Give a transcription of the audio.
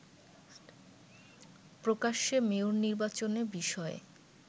প্রকাশ্যে মেয়র নির্বাচনে বিষয়ে